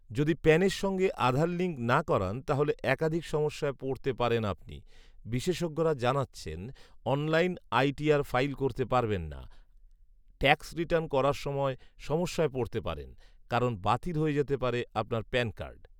যদি প্যানের সঙ্গে আধার লিঙ্ক না করান তাহলে একাধিক সমস্যায় পড়তে পারেন আপনি৷বিশেষজ্ঞরা জানাচ্ছেন, অনলাইন আইটিআর ফাইল করতে পারবেন না আপনি৷ট্যাক্স রিটার্ন করার সময় সমস্যায় পড়তে পারেন৷কারণ, বাতিল হয়ে যেতে পারে আপনার প্যান কার্ড ৷